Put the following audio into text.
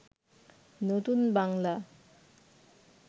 নতুন বাংলা